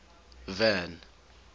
van